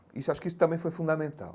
Isso acho que isso também foi fundamental.